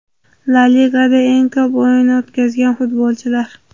La Ligada eng ko‘p o‘yin o‘tkazgan futbolchilar.